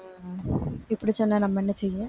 இப்படி சொன்னா நம்ம என்ன செய்ய